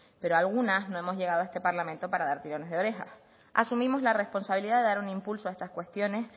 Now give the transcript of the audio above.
pero algunas no hemos llegado a este parlamento para dar tirones de orejas asumimos la responsabilidad de dar un impulso a estas cuestiones